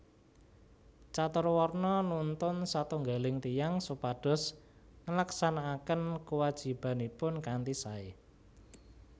Caturwarna nuntun satunggaling tiyang supados nglaksanakaken kuwajibanipun kanthi sae